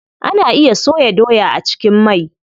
Ana iya soya doya a cikin mai.